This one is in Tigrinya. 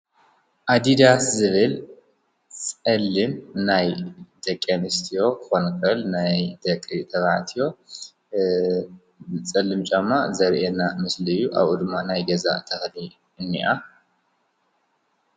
ኣዲዳስ ዝብል ፀሊም ናይ ደቂ ኣንስትዮ ክኾን ይኽእል ናይ ደቂ ተባዕትዮ ፀሊም ጫማ ዘሪኤና ምስሊ እዩ፡፡ ኣብኡ ድማ ናይ ገዛ ተኽሊ እኒኣ ።